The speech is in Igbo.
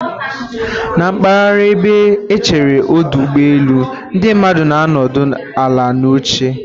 Na mpaghara ebe echere ọdụ ụgbọ elu, ndị mmadụ na-anọdụ ala na oche